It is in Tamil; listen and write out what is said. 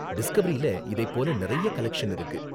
டிஸ்கவரியில இதை போல நிறைய கலெக்ஷன் இருக்கு.